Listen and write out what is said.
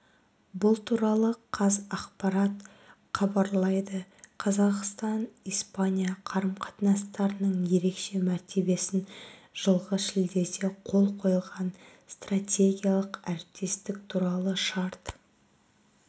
бұл туралы қазақпарат хабарлайды қазақстан-испания қарым-қатынастарының ерекше мәртебесін жылғы шілдеде қол қойылған стратегиялық әріптестік туралы шарт